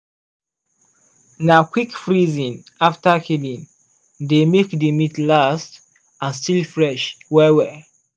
na quick freezing after killing dey make the meat last and still fresh well well.